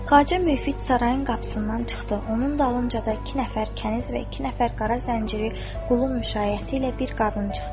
Xacə Müfid sarayın qapısından çıxdı, onun dalınca da iki nəfər kəniz və iki nəfər qara zənciri qulun müşaiyyəti ilə bir qadın çıxdı.